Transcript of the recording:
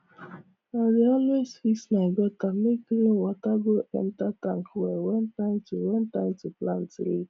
i dey always fix my gutter make rain water go enter tank well when time to when time to plant reach